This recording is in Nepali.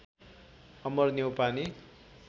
अमर न्यौपाने